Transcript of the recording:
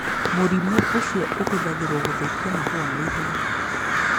Mũrimũ ũcio nĩ ũhũthagĩrũo gũthũkia mahũa na ihenya